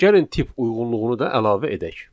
Gəlin tip uyğunluğunu da əlavə edək.